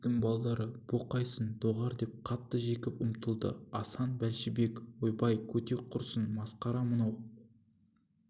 иттің балдары бұ қайсың доғар деп қатты жекіп ұмтылды асан бәлшебек ойбай көтек құрсын масқара мынау